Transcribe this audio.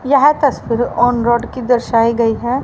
यह तस्वीर on road की दर्शायी गई है।